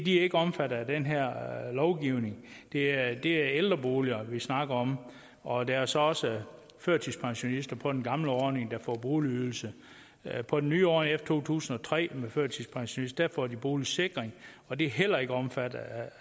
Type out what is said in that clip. er ikke omfattet af den her lovgivning det er det er ældreboliger vi snakker om og der er så også førtidspensionister på den gamle ordning der får boligydelse på den nye ordning efter to tusind og tre får førtidspensionister boligsikring og det er heller ikke omfattet af